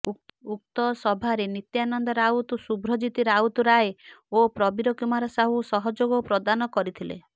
ଉକ୍ତ ସଭାରେ ନିତ୍ୟାନନ୍ଦ ରାଉତ ଶୁଭ୍ରଜିତ୍ ରାଉତ ରାଏ ଓ ପ୍ରବିର କୁମାର ସାହୁ ସହଯୋଗ ପ୍ର୍ରଦାନ କରିଥିଲେ